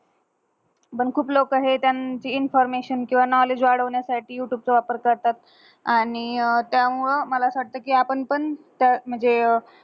पण खूप लोक हे त्यांची information किव्हा knowledge वाढवण्या साटी युटूबच वापर करतात. आणि त्या मूळ मला कि आपन पण म्हंजे